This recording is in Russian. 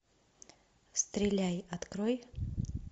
стреляй открой